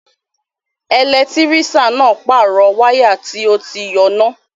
Ẹlẹtírísíàn náà pàrọ̀ wáyà tó ti yọ́ náà